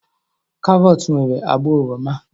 Karọt nwere agba oroma.